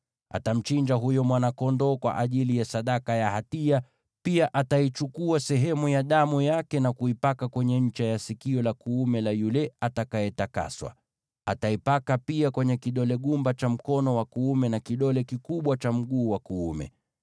Atamchinja huyo mwana-kondoo kwa ajili ya sadaka ya hatia. Pia ataichukua sehemu ya damu yake na kuipaka kwenye ncha ya sikio la kuume la yule anayetakaswa, na aipake pia kwenye kidole gumba cha mkono wa kuume wa huyo mtu, na kidole kikubwa cha mguu wake wa kuume.